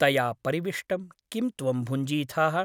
तया परिविष्टं किं त्वं भुञ्जीथाः ?